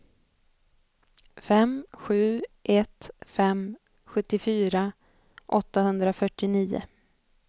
fem sju ett fem sjuttiofyra åttahundrafyrtionio